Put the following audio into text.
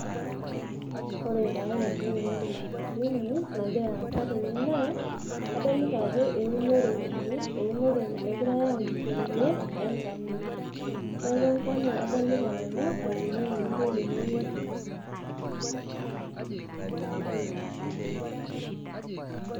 Ore taa entoki nadim atolimu nagira aasa tene naa kadolita ajo eunoreki, eunore egirai aunisho tene e ngano neeku engano adolita nanu eunitoi tene.